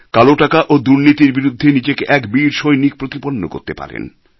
কালো টাকা ও দুর্নীতির বিরুদ্ধে নিজেকে এক বীর সৈনিক প্রতিপন্ন করতে পারেন